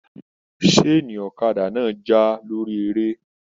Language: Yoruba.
Saani ọ̀kàdà náà tí lórí eré.